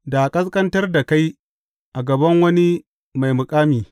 da a ƙasƙantar da kai a gaban wani mai makami.